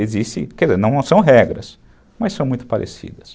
Existem, quer dizer, não são regras, mas são muito parecidas.